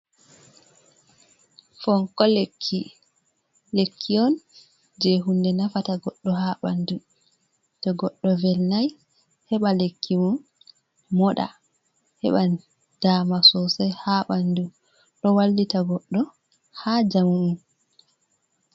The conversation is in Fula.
Fonko lekki, lekki on je hunde nafata goddo ha bandu to goddo velnai heba lekkimo moda heba dama sosai ha bandu do wallita goddo ha jamum.